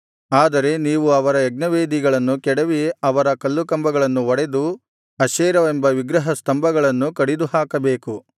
ಆದರೆ ನೀವು ಅವರ ಯಜ್ಞವೇದಿಗಳನ್ನು ಕೆಡವಿ ಅವರ ಕಲ್ಲುಕಂಬಗಳನ್ನು ಒಡೆದು ಅಶೇರವೆಂಬ ವಿಗ್ರಹಸ್ತಂಭಗಳನ್ನು ಕಡಿದುಹಾಕಬೇಕು